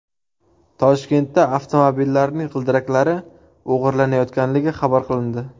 Toshkentda avtomobillarning g‘ildiraklari o‘g‘irlanayotganligi xabar qilindi.